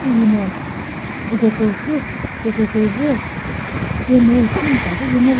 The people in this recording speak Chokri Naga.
hihino uko kürüsu kükre kre zü cene shimta zü shi ngova --